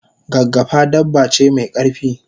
gaggafa dabba ce me karfi